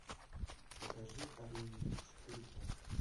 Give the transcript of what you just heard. покажи орлиный путь четыре ка